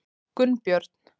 Gunnbjörn